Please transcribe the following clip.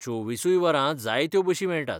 चोवीसूय वरां जायत्यो बशी मेळटात.